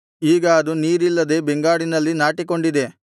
ಈಗ ಅದು ನೀರಿಲ್ಲದೆ ಬೆಂಗಾಡಿನಲ್ಲಿ ನಾಟಿಕೊಂಡಿದೆ